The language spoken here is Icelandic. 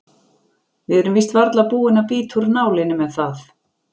Við erum víst varla búin að bíta úr nálinni með það.